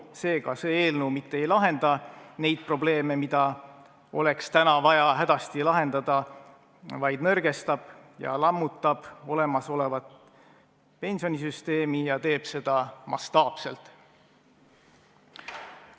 Seega, see eelnõu mitte ei lahenda neid probleeme, mida oleks täna vaja hädasti lahendada, vaid nõrgestab ja lammutab olemasolevat pensionisüsteemi ja teeb seda mastaapselt.